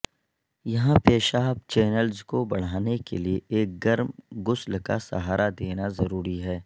یہاں پیشاب چینلز کو بڑھانے کے لئے ایک گرم غسل کا سہارا دینا ضروری ہے